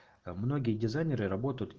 многие дизайнеры работают и